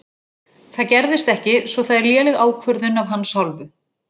Það gerðist ekki svo það er léleg ákvörðun af hans hálfu.